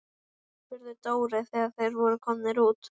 spurði Dóri þegar þeir voru komnir út.